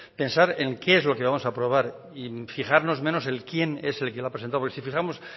pensar en qué es lo que vamos a aprobar y fijarnos menos en quién es el que lo ha presentado porque si fijamos